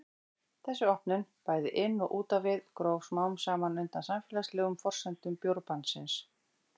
Þessi opnun, bæði inn og út á við, gróf smám saman undan samfélagslegum forsendum bjórbannsins.